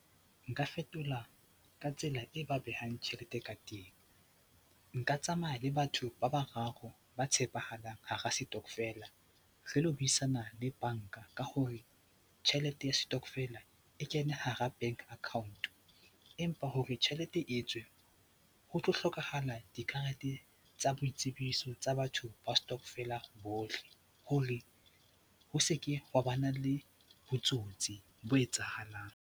Nka fetola ka tsela e ba behang tjhelete ka teng. Nka tsamaya le batho ba bararo ba tshepahalang hara setokofela re lo buisana le banka ka hore tjhelete ya setokofela e kene hara bank account empa hore tjhelete e tswe ho tlo hlokahala dikarete tsa boitsebiso tsa batho ba setokofela bohle hore ho se ke wa ba na le botsotsi bo etsahalang.